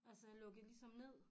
Altså jeg lukkede ligesom ned